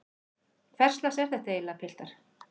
Hverslags er þetta eiginlega piltar?